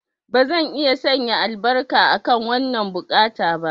Bazan iya sanya albarka akan wannan buƙata ba.